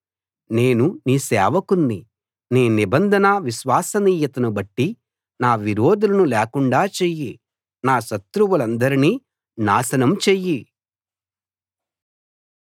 నేను నీ సేవకుణ్ణి నీ నిబంధన విశ్వసనీయతను బట్టి నా విరోధులను లేకుండా చెయ్యి నా శత్రువులందరినీ నాశనం చెయ్యి